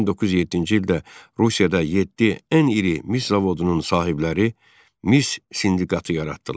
1907-ci ildə Rusiyada yeddi ən iri mis zavodunun sahibləri mis sindikatı yaratdılar.